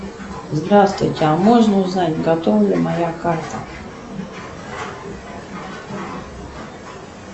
здравствуйте а можно узнать готова ли моя карта